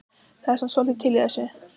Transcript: Það er samt svolítið til í þessu.